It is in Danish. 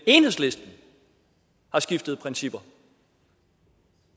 enhedslisten har skiftet principper